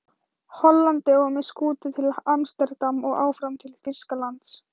Hollandi og með skútu til Amsterdam og áfram til Þýskalands.